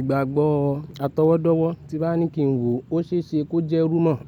Ìgbàgbọ́ atọwọ́dọ́wọ́ tí n bá ní kí n wò ó ṣe é ṣe kó jẹ́ rumor.